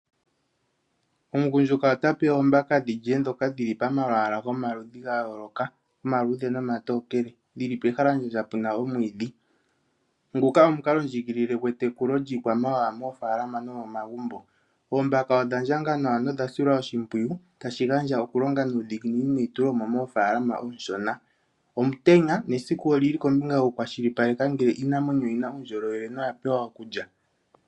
Omugundjuka ota pe oomaka dhilye dhoka dhili momalwaa gayoloka, omaluudhe nomatookele. Dhili pehalandjandja puna omwiidhi. Nguka omukalo ndjiigilile gwetekulo lyiikwamawawa moofalama nomomagumbo. Oombaka odhandjanga nawa nodha silwa oshimpwiyu. Tashi gandja oku longa nuudhiginini neitulemo moofalama onshona. Omutenya na esiku lyoku kwashilipaleke ngele iiinamwenyo oyina uundjolowele noya pewa okulya.